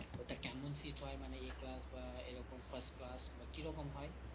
ওটা কেমন seat হয় মান A class বা এরকম first class বা কিরকম হয়